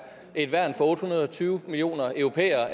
et værn og en for otte hundrede og tyve millioner europæere